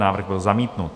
Návrh byl zamítnut.